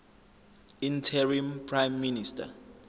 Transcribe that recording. interim prime minister